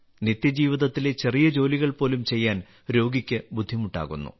നിത്യജീവിതത്തിലെ ചെറിയ ജോലികൾ പോലും ചെയ്യാൻ രോഗിക്ക് ബുദ്ധിമുട്ടാകുന്നു